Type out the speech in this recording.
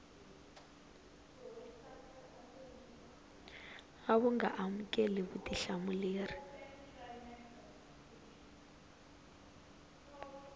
a wu nga amukeli vutihlamuleri